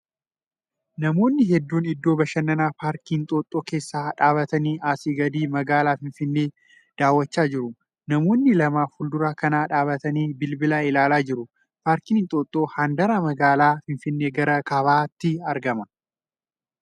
Namoonni hedduun iddoo bashannanaa paarkii Inxooxxoo keessa dhaabbatanii asii gadi magaalaa Finfinnee daawwachaa jiru. Namoonni lama fuuldura kana dhaabbatanii bilbila ilaalaa jiru. Paarkiin Inxooxxoo handaara magaalaa Finfinnee gara kaabaatti argama.